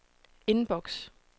inbox